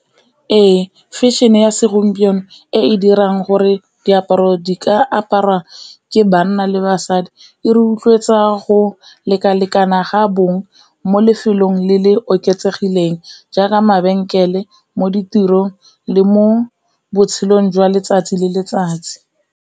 Ee fashion-e ya segompieno e e dirang gore diaparo di ka aparwa ke banna le basadi, e rotloetsa go lekalekana ga bong mo lefelong le le oketsegileng jaaka mabenkele, mo ditirong le mo botshelong jwa letsatsi le letsatsi.